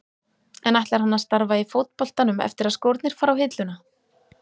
En ætlar hann að starfa í fótboltanum eftir að skórnir fara á hilluna?